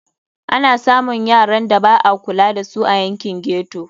Ana samun yaran da ba a kula da su a yankin ghetto.